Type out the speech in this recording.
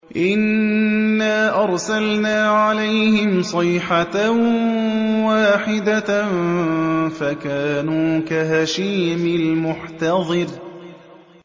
إِنَّا أَرْسَلْنَا عَلَيْهِمْ صَيْحَةً وَاحِدَةً فَكَانُوا كَهَشِيمِ الْمُحْتَظِرِ